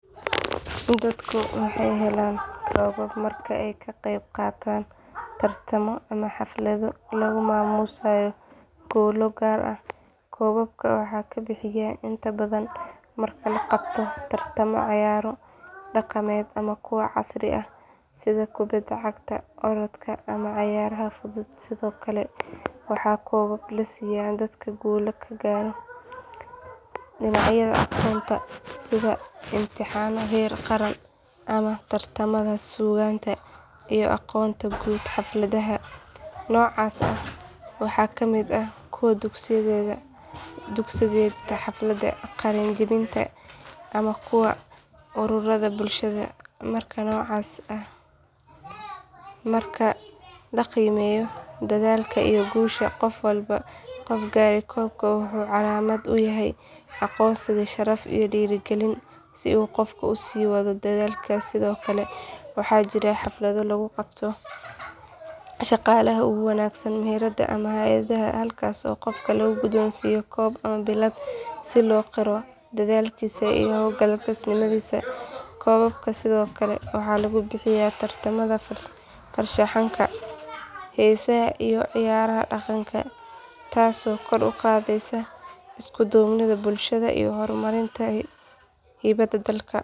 Dadku waxay helaan koobab marka ay ka qayb qaataan tartamo ama xaflado lagu maamuusayo guulo gaar ah koobabka waxaa la bixiyaa inta badan marka la qabto tartamo cayaaro dhaqameed ama kuwa casri ah sida kubadda cagta orodka ama cayaaraha fudud sidoo kale waxaa koobab la siiyaa dadka guulo ka gaaray dhinacyada aqoonta sida imtixaanno heer qaran ama tartamada suugaanta iyo aqoonta guud xafladaha noocaas ah waxaa ka mid ah kuwa dugsiyeedka xafladaha qalin jebinta ama kuwa ururrada bulshada marka la qiimeeyo dadaalka iyo guusha qof gaaray koobka wuxuu calaamad u yahay aqoonsi sharaf iyo dhiirigelin si uu qofku u sii wado dadaalkiisa sidoo kale waxaa jira xaflado lagu garto shaqaalaha ugu wanaagsan meheradaha ama hay’adaha halkaas oo qofka la guddoonsiiyo koob ama billad si loo qiro dadaalkiisa iyo hawlkarnimadiisa koobabka sidoo kale waxaa lagu bixiyaa tartamada farshaxanka heesaha iyo ciyaaraha dhaqanka taasoo kor u qaadaysa isku duubnida bulshada iyo horumarinta hibada dadka.